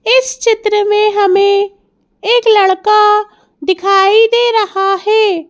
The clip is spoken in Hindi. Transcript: इस चित्र में हमें एक लड़का दिखाई दे रहा है।